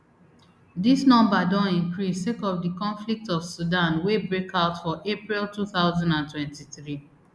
dis number don increase sake of di conflict for sudan wey break out for april two thousand and twenty-three